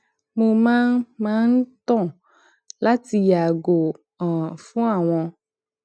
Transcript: mó máa ń máa ń tàn láti yààgò um fún àwọn